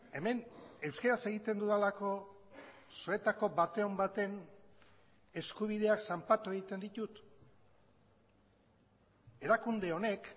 hemen euskaraz egiten dudalako zuetako baten baten eskubideak zanpatu egiten ditut erakunde honek